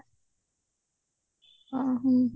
ଓଃ ହ୍ମ